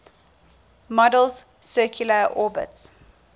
model's circular orbits